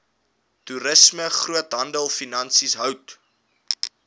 toerisme groothandelfinansies hout